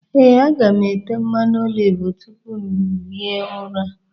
Ee, aga m ete mmanụ oliv tupu m ehie ụra.